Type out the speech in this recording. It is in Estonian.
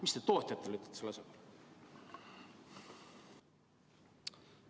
Mida te tootjatele selle asja kohta ütlete?